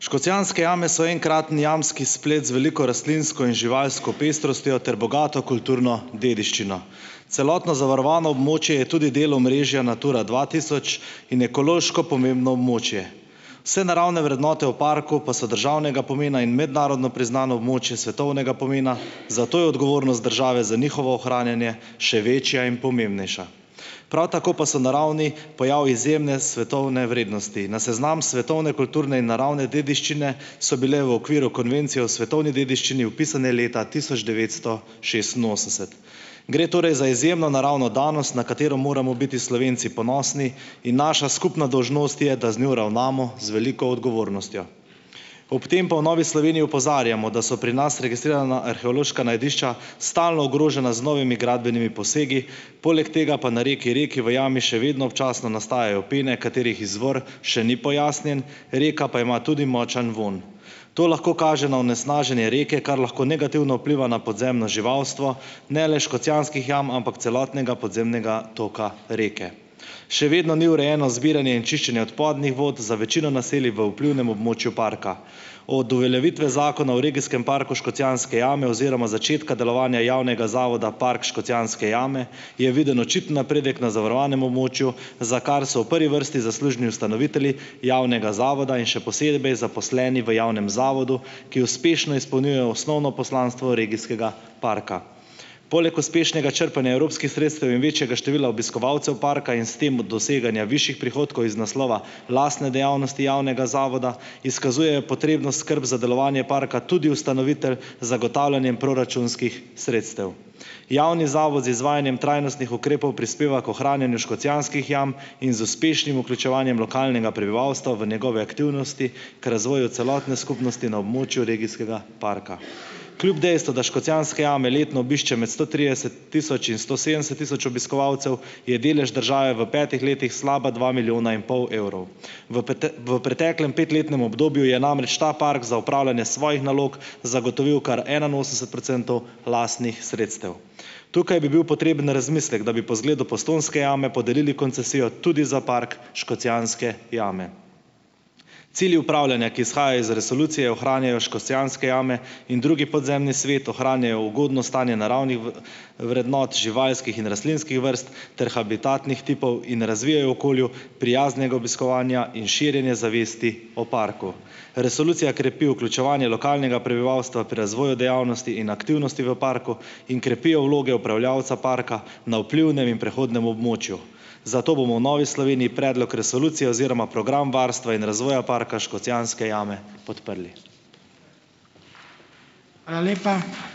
Škocjanske jame so enkraten jamski splet z veliko rastlinsko in živalsko pestrostjo ter bogato kulturno dediščino, celotno zavarovano območje je tudi del omrežja Natura dva tisoč in ekološko pomembno območje. Vse naravne vrednote v parku pa so državnega pomena in mednarodno priznano območje svetovnega pomena, zato je odgovornost države za njihovo ohranjanje še večja in pomembnejša, prav tako pa so naravni pojav izjemne svetovne vrednosti, na seznam svetovne kulturne in naravne dediščine so bile v okviru konvencije o svetovni dediščini vpisane leta tisoč devetsto šestinosemdeset gre torej za izjemno naravno danost, na katero moramo biti Slovenci ponosni, in naša skupna dolžnost je, da z njo ravnamo z veliko odgovornostjo, ob tem pa v Novi Sloveniji opozarjamo, da so pri nas registrirana arheološka najdišča stalno ogrožena z novimi gradbenimi posegi, poleg tega pa na reki Reki v jami še vedno občasno nastajajo pene, katerih izvor še ni pojasnjen, reka pa ima tudi močan vonj. To lahko kaže na onesnaženje reke, kar lahko negativno vpliva na podzemno živalstvo ne le Škocjanskih jam, ampak celotnega podzemnega toka Reke. Še vedno ni urejeno zbiranje in čiščenje odpadnih vod za večino naselij v vplivnem območju parka. Od uveljavitve zakona o regijskem parku škocjanske jame oziroma začetka delovanja javnega zavoda Park Škocjanske jame je viden očiten napredek na zavarovanem območju, za kar so v prvi vrsti zaslužni ustanovitelji javnega zavoda in še posebej zaposleni v javnem zavodu, ki uspešno izpolnjuje osnovno poslanstvo regijskega parka. Poleg uspešnega črpanja evropskih sredstev in večjega števila obiskovalcev parka in s tem doseganja višjih prihodkov iz naslova lastne dejavnosti javnega zavoda izkazujejo potrebno skrb za delovanje parka tudi ustanovitelj z zagotavljanjem proračunskih sredstev. Javni zavod z izvajanjem trajnostnih ukrepov prispeva k ohranjanju Škocjanskih jam in z uspešnim vključevanjem lokalnega prebivalstva v njegove aktivnosti k razvoju celotne skupnosti na območju regijskega parka kljub dejstvu, da Škocjanske jame letno med sto trideset tisoč in sto sedemdeset tisoč obiskovalcev, je delež države v petih letih slaba dva milijona in pol evrov, v v preteklem pet letnem obdobju je namreč ta park za opravljanje svojih nalog zagotovil kar enainosemdeset procentov lastnih sredstev. Tukaj bi bil potreben razmislek, da bi po zgledu Postojnske jame podarili koncesijo tudi za Park Škocjanske jame. Cilji upravljanja, ki izhajajo iz resolucije, ohranjajo Škocjanske jame in drugi podzemni svet, ohranjajo ugodno stanje naravnih vrednot živalskih in rastlinskih vrst ter habitatnih tipov in razvijajo okolju prijaznega obiskovanja in širjenje zavesti o parku. Resolucija krepi vključevanje lokalnega prebivalstva pri razvoju dejavnosti in aktivnosti v parku in krepi vloge upravljavca parka na vplivnem in prehodnem območju, zato bomo v Novi Sloveniji predlog resolucije oziroma program varstva in razvoja Parka Škocjanske jame podprli. Hvala lepa.